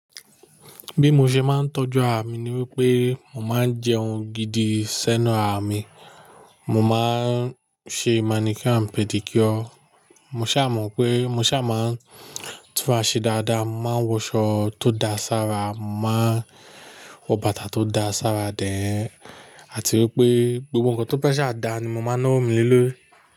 Bí mo ṣe máa ń tọ́jú ara mi ni wípé mo máa ń jẹun gidi sẹ́nu ara mi, mo máa ń ṣe manicure and pedicure. Mo ṣà mọ̀ pé mo ṣà máa ń tún ara ṣe dáadáa, mo máa ń wọ̀ṣọ tó dáa sára, mo màá wọ bàtà tó dáa sára then, àti wípé gbogbo nǹkan tó baṣa dá ni mo máa ńa owọ́ mi le lò ri.